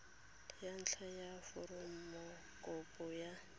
ya ntlha ya foromokopo ya